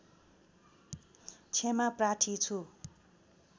क्षमा प्रार्थी छु